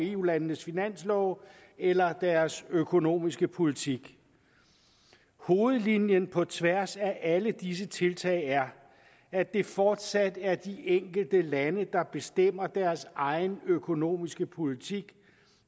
eu landenes finanslove eller deres økonomiske politik hovedlinjen på tværs af alle disse tiltag er at det fortsat er de enkelte lande der bestemmer deres egen økonomiske politik